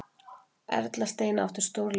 Erla Steina átti stórleik